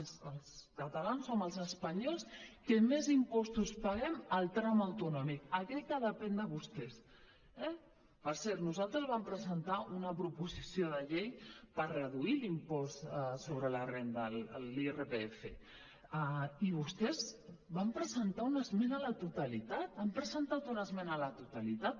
els catalans som els espanyols que més impostos paguem al tram autonòmic aquell que depèn de vostès eh per cert nosaltres vam presentar una proposició de llei per reduir l’impost sobre la renda l’irpf i vostès van presentar una esmena a la totalitat han presentat una esmena a la totalitat